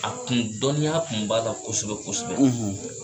A kun dɔnniya tun b'a la kosɛbɛ kosɛbɛ